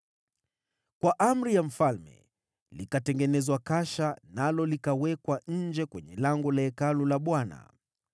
Kwa amri ya mfalme, likatengenezwa kasha, nalo likawekwa nje kwenye lango la Hekalu la Bwana .